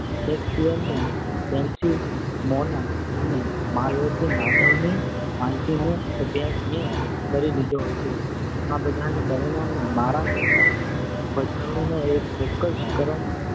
શેકસપિયરની Desdemona અને માલતીમાધવ ની માલતી નો અભ્યાસ મેં કરી લીધો હતો. આ બધાને પરિણામે મારા મનમાં ભજવણીનો એક ચોક્કસ ક્રમ